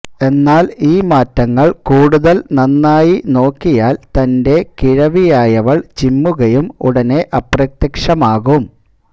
എന്നാൽ ഈ മാറ്റങ്ങൾ കൂടുതൽ നന്നായി നോക്കിയാൽ തന്റെ കിഴവിയായവൾ ചിമ്മുകയും ഉടനെ അപ്രത്യക്ഷമാകും